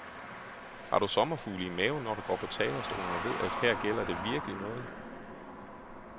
Har du sommerfugle i maven, når du går på talerstolen og ved, at her gælder det virkelig noget?